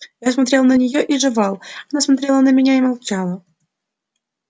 я смотрел на неё и жевал она смотрела на меня и молчала